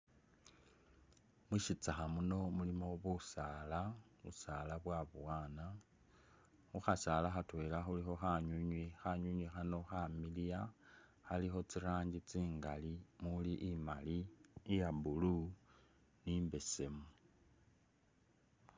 Mushitsakha muno mulimo busala, busala bwabowana , khukhasala khatwela khulikho khanwinwi, khanwinwi khano khamiliya ,khalikho tsirangi tsingali muli imali, iya blue ni imbesemu